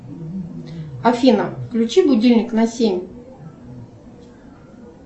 афина включи будильник на семь